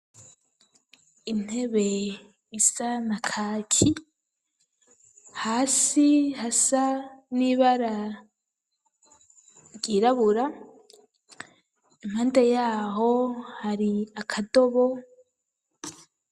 Intebe isa na kaki hasi hasa n'ibara ryirabura impande yaho hari akadobo.